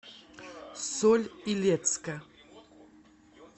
соль илецка